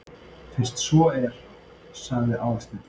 Fyrst svo er. sagði Aðalsteinn.